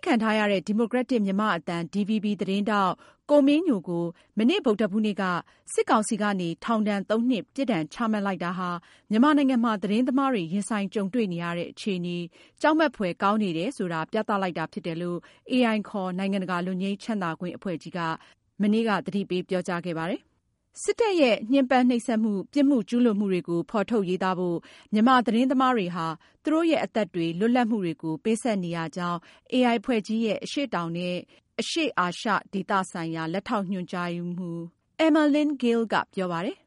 းခံထားရတဲ့ ဒီမိုကရက်တစ်မြန်မာ့အသံ DVB သတင်းထောက် ကိုမင်းညို ကို မနေ့ ဗုဒ္ဓဟူးနေ့က စစ်ကောင်စီကနေ ထောင်ဒဏ်သုံးနှစ် ပြစ်ဒဏ်ချမှတ်လိုက်တာဟာ မြန်မာနိုင်ငံမှာ သတင်းသမားတွေရင်ဆိုင်ကြုံတွေ့နေရတဲ့ အခြေအနေဟာ ကြောက်မက်ဖွယ်ကောင်းနေတယ်ဆိုတာ ပြသလိုက်တာဖြစ်တယ်လို့ AI ခေါ် နိုင်ငံတကာလွတ်ငြိမ်းချမ်းသာခွင့် အဖွဲ့ကြီးက သတိပေးပြောကြားလိုက်ပါတယ်။ စစ်တပ်ရဲ့ညှဉ်းပမ်းနှိပ်စက်မှု၊ ပြစ်မှုကျူးလွန်မှုတွေကို ဖေါ်ထုတ်ရေးသားဖို့ မြန်မာသတင်းသမားတွေဟာ သူတို့ရဲ့ အသက်တွေ၊ လွတ်လပ်မှုတွေကို ပေးဆပ်နေရကြောင်း AI အဖွဲ့ကြီးရဲ့ အရှေ့တောင်နဲ့အရှေ့ အာရှ ဒေသဆိုင်ရာ လက်ထောက်ညွန်ကြားရေးမှူး Emerlynne Gil ကပြောပါတယ်